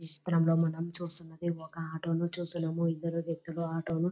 ఈ చిత్రంలో మనము చూస్తూ ఉన్నది ఒక ఆటో ని చూస్తున్నాము. ఇందులో వ్యక్తులు ఆటోను --